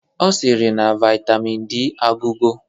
Ọ sịrị na Vaitamin D agwụgo